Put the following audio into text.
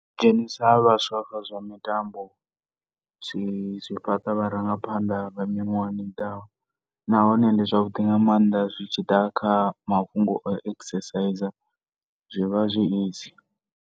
Dzhenisa ha vhaswa kha zwa mitambo zwi, zwi fhaṱa vharangaphanḓa vha miṅwaha i ḓaho. Nahone ndi zwavhuḓi nga maanḓa zwi tshi ḓa kha mafhungo a u exercise, zwi vha zwi easy.